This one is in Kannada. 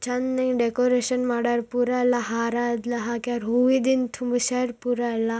ಚೆನ್ನಾಗ್ ಡೆಕೋರೇಷನ್ ಮಾಡವ್ರೆ ಪುರ ಹಾರ ಎಲ್ಲಾ ಹಾಕೊರೆ ಹೂವಿಂದ ತುಂಬಿಸುವ ಪುರ್ ಎಲ್ಲಾ.